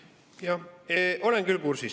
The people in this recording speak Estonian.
Jah, olen küll kursis.